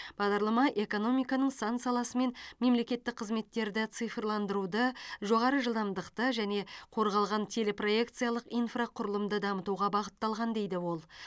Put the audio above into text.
бағдарлама экономиканың сан саласы мен мемлекеттік қызметтерді цифрландыруды жоғары жылдамдықты және қорғалған телепроекциялық инфрақұрылымды дамытуға бағытталған дейді ол